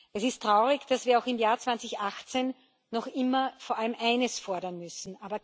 Es ist traurig, dass wir auch im Jahr 2018 noch immer vor allem eines fordern müssen.